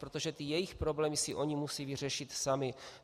Protože ty jejich problémy si oni musí vyřešit sami.